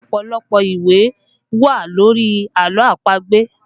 Ọpọlọpọ ìwé wà lórí àlọ́ àpagbè